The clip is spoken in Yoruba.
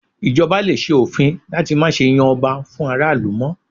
Ì̀jọba lè ṣe òfin láti má ṣe yan ọba fún ará ìlú mọ́